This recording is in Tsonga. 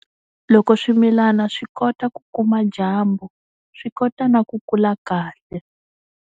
Loko swimilana swi kota ku kuma dyambu swi kota na ku kula kahle.